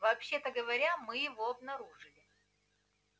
вообще-то говоря мы его обнаружили